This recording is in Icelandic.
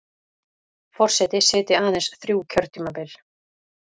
Forseti sitji aðeins þrjú kjörtímabil